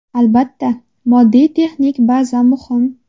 Albatta, moddiy-texnik baza muhim.